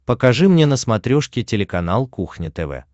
покажи мне на смотрешке телеканал кухня тв